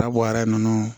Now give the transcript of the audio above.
Dabɔra nunnu